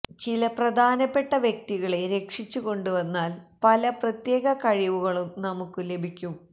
ചില പ്രധാനപ്പെട്ട വ്യക്തികളെ രക്ഷിച്ചു കൊണ്ട് വന്നാല് പല പ്രത്യേക കഴിവുകളും നമുക്ക് ലഭിക്കും